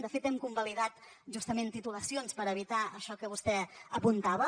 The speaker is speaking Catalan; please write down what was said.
de fet hem convalidat justament titulacions per evitar això que vostè apuntava